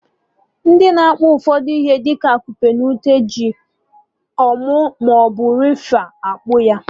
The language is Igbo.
Ndị na-akpa ụfọdụ ihe dị ka akupe na ute ji nkwụ maọbụ rafia akpa ya